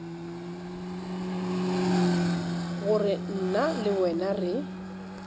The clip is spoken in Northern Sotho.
gore nna le wena re